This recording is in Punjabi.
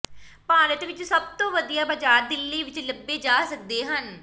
ਭਾਰਤ ਵਿਚ ਸਭ ਤੋਂ ਵਧੀਆ ਬਾਜ਼ਾਰ ਦਿੱਲੀ ਵਿਚ ਲੱਭੇ ਜਾ ਸਕਦੇ ਹਨ